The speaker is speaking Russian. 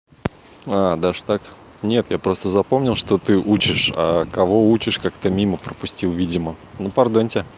а даже так нет я просто запомнил что ты учишь а кого учишь как-то мимо пропустил видимо ну пардоньте